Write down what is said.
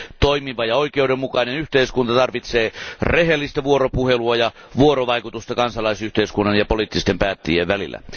Toimiva ja oikeudenmukainen yhteiskunta tarvitsee rehellistä vuoropuhelua ja vuorovaikutusta kansalaisyhteiskunnan ja poliittisten päättäjien välillä.